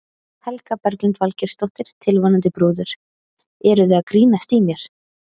Helga Berglind Valgeirsdóttir, tilvonandi brúður: Eruð þið að grínast í mér?